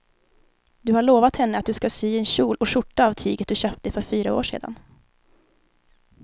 Du har lovat henne att du ska sy en kjol och skjorta av tyget du köpte för fyra år sedan.